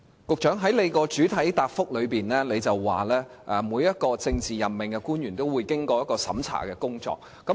局長，你在主體答覆表示，每位政治委任官員均須接受深入審查。